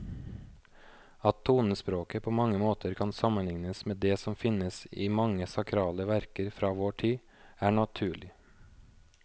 At tonespråket på mange måter kan sammenlignes med det som finnes i mange sakrale verker fra vår tid, er naturlig.